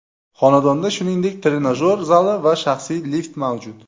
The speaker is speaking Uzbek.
Xonadonda, shuningdek trenajyor zali va shaxsiy lift mavjud.